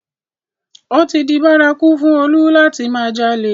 Ó ti di bárakú fún Olú láti máa jalè